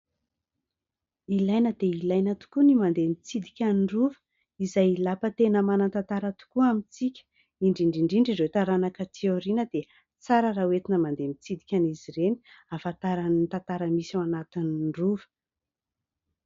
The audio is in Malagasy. Ilaina dia ilaina tokoa ny mandeha mitsidika ny rova izay lapa tena manan-tantara tokoa amintsika. Indrindra indrindra ireo taranaka taty aoriana dia tsara raha ho entina mandeha mitsidika an'izy ireny ahafantarany ny tantara misy ao anatin'ny rova.